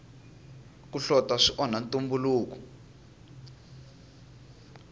ku hlota swi onha ntumbuluko